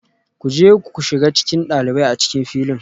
Ku je ku shiga cikin ɗalibai a cikin filin